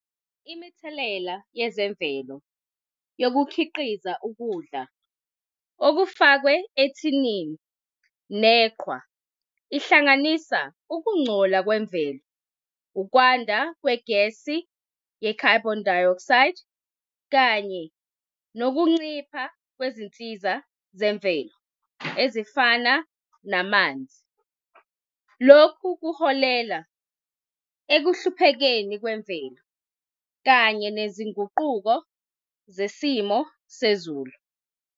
Imithelela yezemvelo yokukhiqiza ukudla okufakwe ethinini, neqhwa, ihlanganisa ukungcola kwemvelo, ukwanda kwegesi ye-carbon dioxide, kanye nokuncipha kwezinsiza zemvelo, ezifana namanzi. Lokhu kuholela ekuhluphekeni kwemvelo, kanye nezinguquko zesimo sezulu.